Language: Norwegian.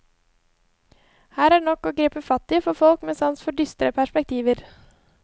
Her er det nok å gripe fatt i for folk med sans for dystre perspektiver.